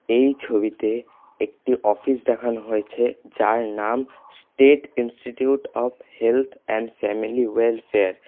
এই ছবিতে একটি অফিস দেখানো হয়েছে যার নাম state institute of health and family welfare.